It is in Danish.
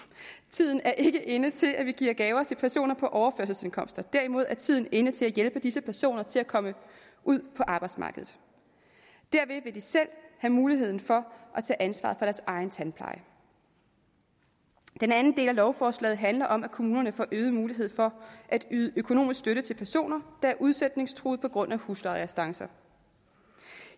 tiden er ikke inde til at vi giver gaver til personer på overførselsindkomster derimod er tiden inde til at hjælpe disse personer til at komme ud på arbejdsmarkedet derved vil de selv have muligheden for at tage ansvaret for deres egen tandpleje den anden del af lovforslaget handler om at kommunerne får øget mulighed for at yde økonomisk støtte til personer der er udsætningstruede på grund af huslejerestancer